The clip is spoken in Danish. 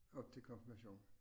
Op til konfirmation